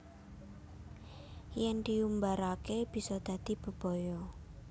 Yen diumbarake bisa dadi bebaya